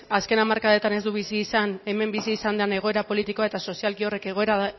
azken hamarkadetan ez du bizi izan hemen bizi izan den egoera politikoa eta sozialki horrek egoera